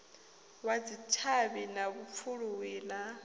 wa dzitshavhi na vhupfuluwi na